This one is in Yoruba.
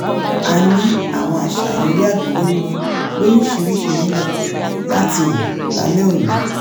a ní àwọn àṣàyàn eré àgbéléwò lóríṣiríṣi nílẹ̀ láti wò lálẹ́ òní